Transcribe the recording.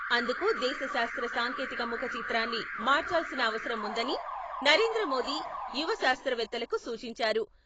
అందుకు దేశ శాస్త్ర సాంకేతిక ముఖచిత్రాన్ని మార్చాల్సిన అవసరం ఉందని నరేంద్ర మోదీ యువ శాస్త్రవేత్తలకు సూచించారు.